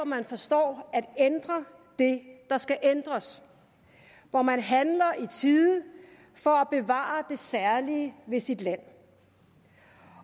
man forstår at ændre det der skal ændres hvor man handler i tide for at bevare det særlige ved sit land